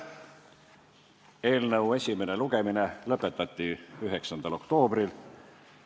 Eelnõu esimene lugemine lõpetati 9. oktoobril.